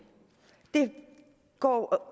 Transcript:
det går